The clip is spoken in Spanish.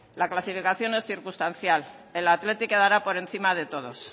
la clasificación es circunstancial el athletic quedará por encima de todos